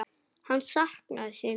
Hann saknaði sín.